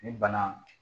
Ni bana